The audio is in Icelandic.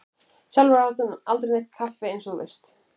Sjálfur átti hann aldrei neitt með kaffi eins og þú manst.